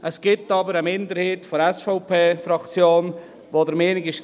Es gibt aber eine Minderheit der SVP-Fraktion, die der Meinung war: